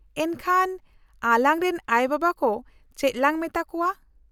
-ᱮᱱᱠᱷᱟᱱ ᱟᱞᱟᱝ ᱨᱮᱱ ᱟᱭᱳᱼᱵᱟᱵᱟ ᱠᱚ ᱪᱮᱫ ᱞᱟᱝ ᱢᱮᱛᱟ ᱠᱚᱶᱟ ?